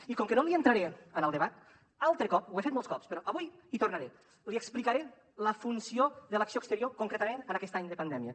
i com que no entraré en el debat altre cop ho he fet molts cops però avui hi tornaré li explicaré la funció de l’acció exterior concretament en aquest any de pandèmia